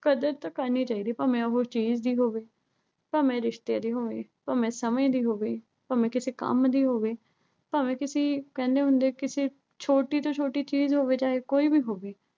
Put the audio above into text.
ਕਦਰ ਤਾਂ ਕਰਨੀ ਚਾਹੀਦੀ ਐ। ਭਾਵੇਂ ਉਹੋ ਚੀਜ਼ ਦੀ ਹੋਵੇ, ਭਾਵੇਂ ਉਹ ਰਿਸ਼ਤੇ ਦੀ ਹੋਵੇ। ਭਾਵੇਂ ਸਮਝ ਦੀ ਹੋਵੇ, ਭਾਵੇਂ ਕਿਸੇ ਕੰਮ ਦੀ ਹੋਵੇ। ਭਾਵੇਂ ਕਿਸੀ, ਕਹਿੰਦੇ ਹੁੰਦਾ ਆ ਵੀ ਕਿਸੇ ਛੋਟੀ ਤੋਂ ਛੋਟੀ ਚੀਜ਼ ਦੀ ਹੋਵੇ, ਚਾਹੇ ਕੋਈ ਵੀ ਹੋਵੇ।